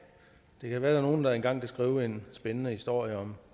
det kan være nogle der engang kan skrive en spændende historie om